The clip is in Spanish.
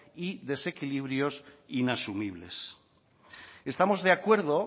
y desequilibrios inasumibles estamos de acuerdo